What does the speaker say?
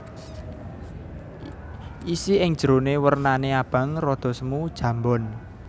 Isi ing jeroné wernané abang rada semu jambon